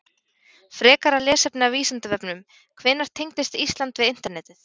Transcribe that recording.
Frekara lesefni af Vísindavefnum Hvenær tengdist Ísland við Internetið?